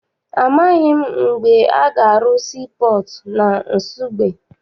Amaghị m mgbe a ga-arụ sii pọọtụ na Nsugbe.